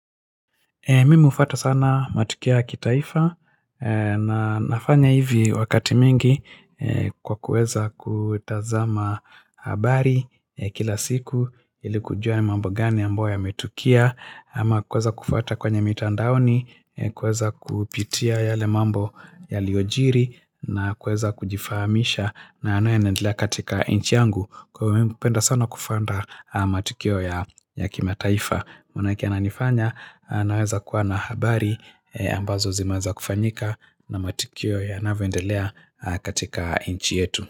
Mimi hufuata sana matukio ya kitaifa na nafanya hivi wakati mingi kwa kuweza kutazama habari kila siku ili kujua ni mambo gani ambayo yametukia ama kuweza kufuata kwenye mitandaoni, kuweza kupitia yale mambo yaliyojiri na kuweza kujifahamisha na yanayoendelea katika nchi yangu. Kwa hivyo mimi hupenda sana kufuata matukio ya kimataifa. Maanake yananifanya naweza kuwa na habari ambazo zimeweza kufanyika na matukio yanavendelea katika nchi yetu.